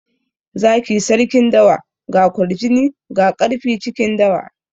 Zaki sarkin dawa. Ga kwarjini ga ƙarfi cikin dawa.